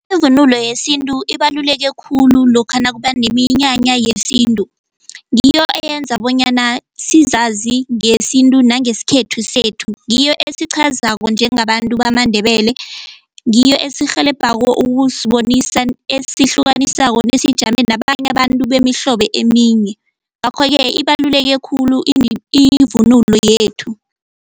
Ivunulo yesintu ibaluleke khulu lokha nakuba neminyanya yesintu ngiyo eyenza bonyana sizazi ngesintu nangesikhethu sethu ngiyo esiqhazako njengabantu bamaNdebele, ngiyo esirhelebhako ukusibonisa esihlukanisako nesijame nabanye abantu bemihlobo eminye ngakho-ke ibaluleke khulu ivunulo yethu.